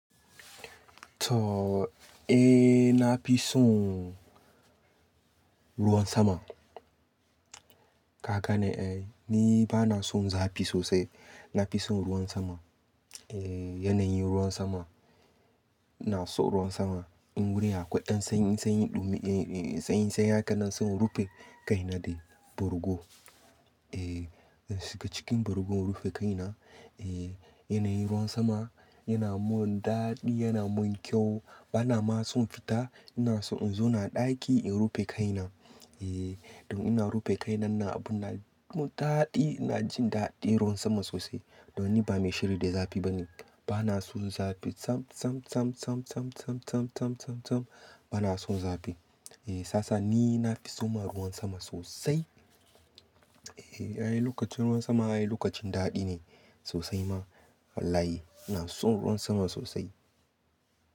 To, eh, na fi son ruwan sama. Ka gane, eh ni ba na son zafi sosai. Na fi son ruwan sama. Eh, yanayin ruwan sama. Ina so ruwan sama, in wurin akwai ɗan sanyi-sanyi ɗumi, eh sanyi-sanyi haka nan sai in rufe kai na da bargo. Eh, zan shiga cikin bargo in rufe kai na, eh yanayin ruwan sama, yana mun daɗi, yana mun kyau. Ba na ma son fita, ina so in zo na a ɗaki in rufe kai na. Eh, idan ina rufe kai nan ina abu na yi mun daɗi, ina jin daɗin ruwan sama sosai. Don ni ba mai shiri da zafi ba ne. Ba na son zafi, sam, sam, sam, sam, sam, sam, sam, sam, sam, sam. Ba na son zafi. Eh sasa ni na fi son ma ruwan sama sosai, Eh, ayi lokacin ruwan sama, ayi lokacin daɗi ne sosai ma. Wallahi ina son ruwan sama sosai.